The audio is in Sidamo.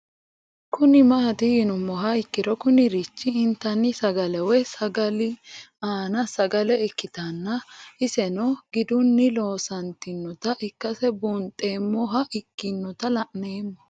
Kuni mati yinumoha ikiro Kuni rich intani sagale woyi sagali an sagale ikitana iseno giduni loonsonita ikase bunxemoha ikinota la'nemo